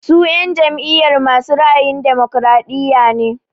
Su en jam'iyar masu ra'ayin damokaraɗiya ne.